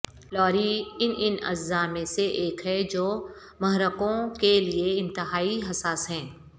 لاری ان ان اعضاء میں سے ایک ہے جو محرکوں کے لئے انتہائی حساس ہیں